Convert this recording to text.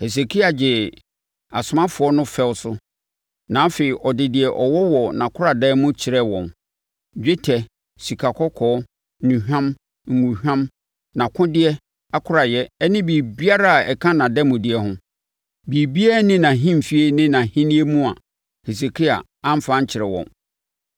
Hesekia gyee asomafoɔ no fɛw so, na afei ɔde deɛ ɔwɔ wɔ nʼakoradan mu kyerɛɛ wɔn: dwetɛ, sikakɔkɔɔ, nnuhwam, ngohwam, nʼakodeɛ akoraeɛ ne biribiara a ɛka nʼademudeɛ ho. Biribiara nni nʼahemfie ne nʼahennie mu a Hesekia amfa ankyerɛ wɔn.